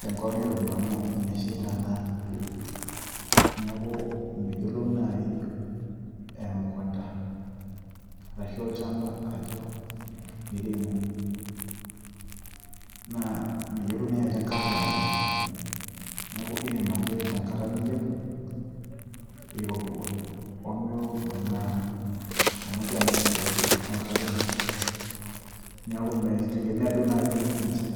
tenkop nairowua amu meshaita naa niaku meyiolou naaji emukunta arashu olchamba ajo miremo naa meyiolou naaji ajo enkata olameyu neeku irem ake tenkata niyieu irowua omirowua amu ingira naa abukoki enkare ino neeku mitegemea duo naaji enchan.